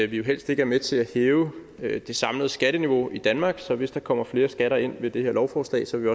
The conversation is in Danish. vi helst ikke er med til at hæve det samlede skatteniveau i danmark så hvis der kommer flere skatter ind ved det her lovforslag så vil